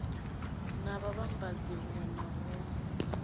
na vhavhambadzi huwe na huwe